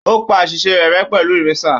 Ó pa àṣìṣe rẹ̀ rẹ pẹ̀lú ìrésà